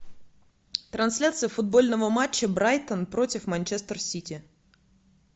трансляция футбольного матча брайтон против манчестер сити